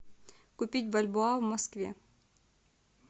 купить бальбоа в москве